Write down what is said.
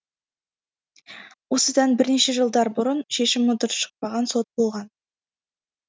осыдан бірнеше жылдар бұрын шешімі дұрыс шықпаған сот болған